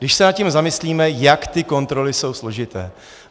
Když se nad tím zamyslíme, jak ty kontroly jsou složité.